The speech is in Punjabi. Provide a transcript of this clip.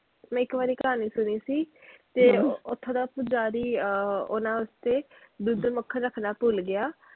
ਮੈਂ ਇੱਕ ਵਾਰੀ ਕਹਾਣੀ ਸੁਣੀ ਸੀ, ਤੇ ਓਥੋਂ ਦਾ ਪੁਜਾਰੀ ਅਹ ਓਹਨਾ ਵਾਸਤੇ ਦੁੱਧ ਮੱਖਣ ਰੱਖਣਾ ਭੁੱਲ ਗਿਆ।